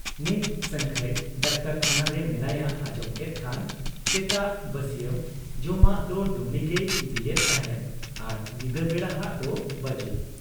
ᱱᱤᱛ ᱥᱟᱹᱝᱠᱷᱟᱹᱭ ᱰᱟᱠᱛᱚᱨᱠᱷᱟᱱᱟᱨᱮ ᱢᱮᱱᱟᱭᱟ ᱟᱸᱡᱚᱢ ᱠᱮᱫ ᱠᱷᱟᱱ ᱥᱮᱛᱟᱜ ᱵᱟᱹᱥᱤᱭᱟ, ᱢ ᱡᱚᱢᱟᱜ ᱫᱚ ᱰᱩᱢᱱᱤᱜᱮᱭ ᱤᱫᱤᱭᱮᱫ ᱛᱟᱦᱮᱸᱫ ᱟᱨ ᱧᱤᱫᱟᱹ ᱵᱮᱲᱟᱦᱟᱜ ᱫᱚ ᱵᱟᱹᱡᱩᱱ ᱾